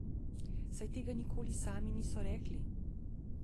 Saj tega nikoli sami niso rekli.